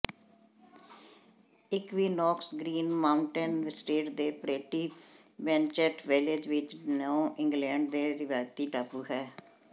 equinox Green Mountain State ਦੇ pretty Manchester village ਵਿਚ New England ਦੇ ਰਿਵਾਇਤੀ ਟਾਪੂ ਹੈ